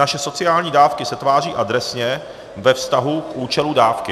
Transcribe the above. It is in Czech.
Naše sociální dávky se tváří adresně ve vztahu k účelu dávky.